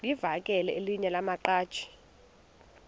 livakele elinye lamaqhaji